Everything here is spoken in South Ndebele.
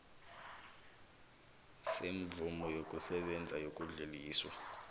semvumo yokusebenza yokudluliswa